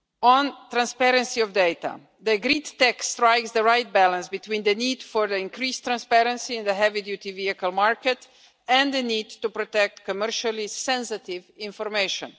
On transparency of data the agreed text strikes the right balance between the need for increased transparency in the heavy duty vehicle market and the need to protect commercially sensitive information.